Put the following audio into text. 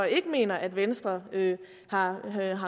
ikke mener at venstre har